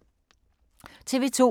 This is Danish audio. TV 2